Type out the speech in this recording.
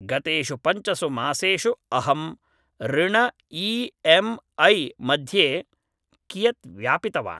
गतेषु पञ्चसुमासेषु अहं ऋण ई एम् ऐ मध्ये कियत् व्यापितवान्